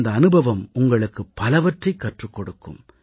இந்த அனுபவம் உங்களுக்கு பலவற்றைக் கற்றுக் கொடுக்கும்